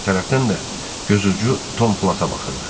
Digər tərəfdən də gözucu Tom Plata baxırdı.